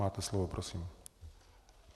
Máte slovo, prosím.